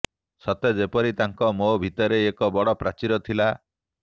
ସତେ ଯେପରି ତାଙ୍କ ମୋ ଭିତରେ ଏକ ବଡ଼ ପ୍ରାଚୀର ଥିଲା